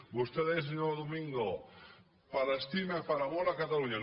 vostè deia senyor domingo per estima i per amor a catalunya